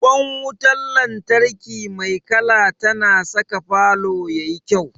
Ƙwan wutar lantarki mai kala tana saka falo ya yi kyau.